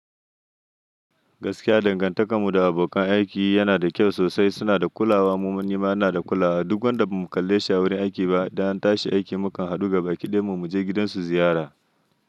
Gaskiya dangantakar mu da abokan aiki yana da kyau sosai. Suna da kulawa, mu manya ma muna da kulawa. Duk wanda bamu kalle shi a wurin aiki ba, idan an tashi aiki mukan haɗu gaba ɗaya mu je gidansu ziyara.